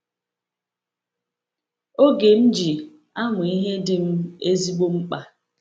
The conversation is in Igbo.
Oge m ji amụ ihe dị m ezigbo mkpa.